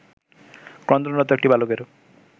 ক্রন্দনরত একটি বালকের